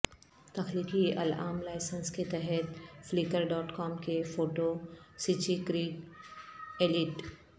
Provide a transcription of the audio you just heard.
تخلیقی العام لائسنس کے تحت فلیکر ڈاٹ کام کے فوٹو سچی کریگ ایلیٹ